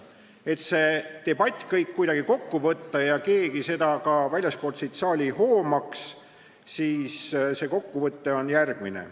Et see debatt kuidagi kokku võtta, nii et keegi ka väljastpoolt seda saali seda hoomaks, on see kokkuvõte järgmine.